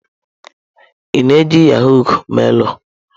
Ị na-eji yahọ̀g mailụ?